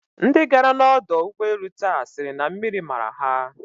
Ndi gara n'ọdọ ụgbọelu taa sịrị na mmiri mara ha.